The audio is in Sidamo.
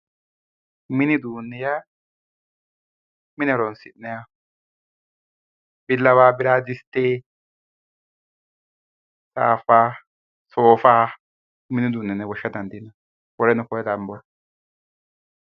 mini uduunni yaa mine horonsi'nanniho billawa, biraadiste, saafa, soofa mini uduunni yine woshsha dandiinanni woleno kuri lambore